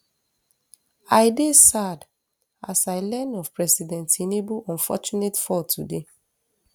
i dey sad as i learn of president tinubu unfortunate fall today